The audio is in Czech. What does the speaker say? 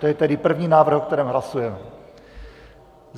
To je tedy první návrh, o kterém hlasujeme.